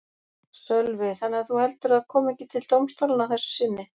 Sölvi: Þannig að þú heldur að það kom ekki til dómstólanna að þessu sinni?